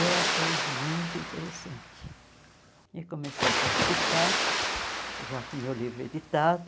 Eu achei muito interessante e comecei a participar, já com o meu livro editado.